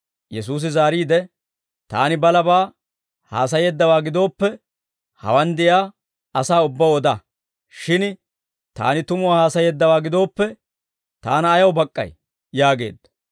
Yesuusi zaariide, «Taani balabaa haasayeeddawaa gidooppe, hawaan de'iyaa asaa ubbaw oda; shin Taani tumuwaa haasayeeddawaa gidooppe, Taana ayaw bak'k'ay?» yaageedda.